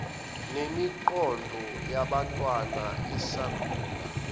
nemiqondo yabantwana esakhula